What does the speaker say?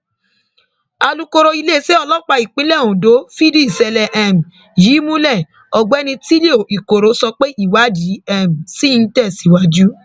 the quick brown fox jumps over the um lazy dog ni ó túmọ sí ní gẹẹsì um